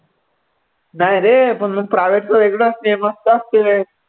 नाही रे पण private चं वेगळं असते मस्त असते.